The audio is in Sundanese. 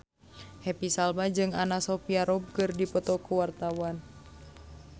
Happy Salma jeung Anna Sophia Robb keur dipoto ku wartawan